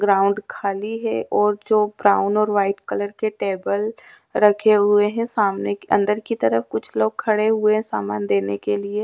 Ground खाली है और जो ब्राउन और व्हाइट कलर के टेबल रखे हुए हैं सामने के अंदर की तरफ कुछ लोग खड़े हुए सामान देने के लिए।